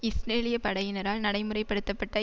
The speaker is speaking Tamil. இஸ்ரேலிய படையினரால் நடைமுறை படுத்த பட்ட